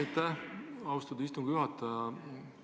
Aitäh, austatud istungi juhataja!